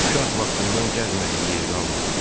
Uşaq vaxtından gəzmədiyi yeri qalmayıb.